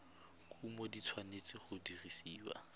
kumo di tshwanetse go dirisiwa